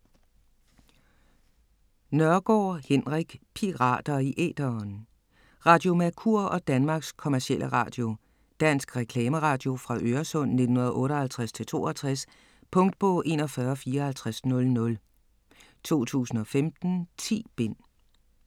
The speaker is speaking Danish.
Nørgaard, Henrik: Pirater i æteren Radio Mercur og Danmarks Commercielle Radio. Dansk reklameradio fra Øresund 1958-62. Punktbog 415400 2015. 10 bind.